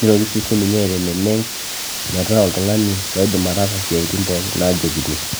nitoki siininye aiteneneng metaa oltung'ani loidim ataasa isiaitin pookin naajokini.